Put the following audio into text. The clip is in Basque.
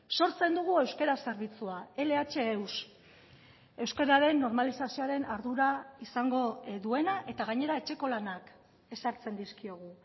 sortzen dugu euskara zerbitzua lh eus euskararen normalizazioaren ardura izango duena eta gainera etxeko lanak ezartzen dizkiogu